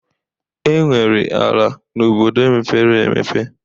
Enwere ala na obodo mepere emepe